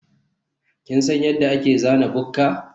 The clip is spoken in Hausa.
kin san yadda ake zana bukka?